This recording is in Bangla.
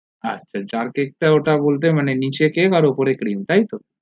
আচ্ছা jarcake টা ওটা বলতে মানে নিচে cream আর উপরে cream তাই তো